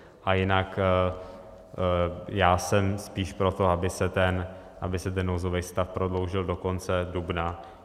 A jinak já jsem spíš pro to, aby se ten nouzový stav prodloužil do konce dubna.